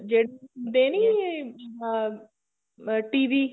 ਜਿਹੜੀ ਹੁੰਦੇ ਨੀ ਆਹ TV